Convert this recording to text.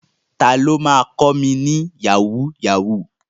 Ta ló ma kọ́ mi ní Yahoo yahoo?